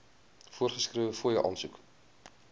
voorgeskrewe fooie aansoek